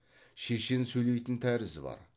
шешен сөйлейтін тәрізі бар